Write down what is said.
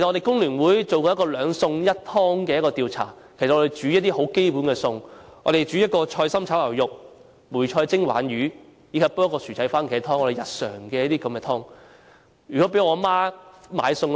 工聯會曾進行一個兩餸一湯的調查，我們煮一些基本餸菜，一碟菜心炒牛肉、梅菜蒸鯇魚及薯仔蕃茄湯，這種日常餸菜。